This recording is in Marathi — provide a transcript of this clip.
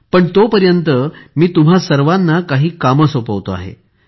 पण तोपर्यंत मी तुम्हा सर्वांना काही कामे सोपवतो आहे